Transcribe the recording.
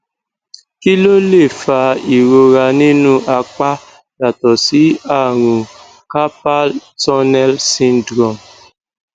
kí ló lè fa ìrora nínú apá yàtọ sí àrùn carpal tunnel syndrome